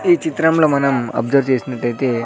ఈ చిత్రంలో మనం అబ్సర్వ్ చేసినట్లయితే.